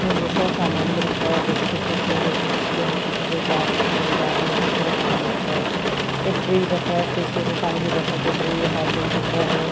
यहाँ पर बहुत सारा सामान भी रखा है बिस्किट रखे हैं कुछ छोटे-छोटे जार रखे हैं जार में बहुत सारा समान रखा है एक फ्रीज़ रखा है फ्रीज़ के ऊपर पानी की बोटल दिख रही है हॉर्लिक्स दिख रहे --